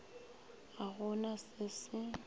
ga go na se se